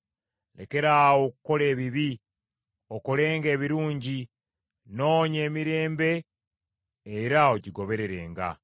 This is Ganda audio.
Lekeraawo okukola ebibi, okolenga ebirungi; noonya emirembe era ogigobererenga.